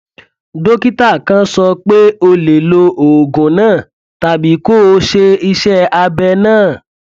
dókítà kàn sọ pé o lè lo oògùn náà tàbí kó o ṣe iṣẹ abẹ náà